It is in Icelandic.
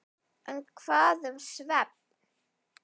En hvað um svefn?